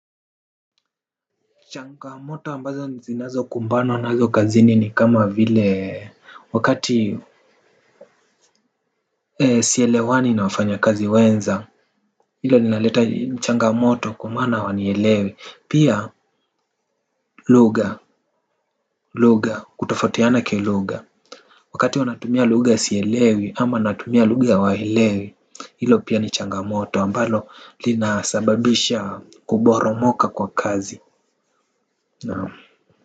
Changamoto ambazo zinazokumbana nazo kazini ni kama vile wakati sielewani na wafanyakazi wenza. Hilo linaleta changamoto kwa maana hawanielewi pia lugha lugha kutofautiana kilugha. Wakati wanatumia lugha sielewi ama natumia lugha hawaelewi. Hilo pia ni changamoto ambalo linasababisha kuporomoka kwa kazi naam.